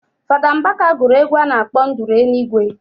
Fada mbaka guru egwu a nakp nduru enigwe